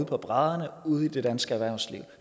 på brædderne ude i det danske erhvervsliv